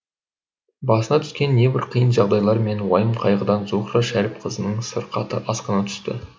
басына түскен небір қиын жағдайлар мен уайым қайғыдан зухра шәріпқызының сырқаты асқына түсті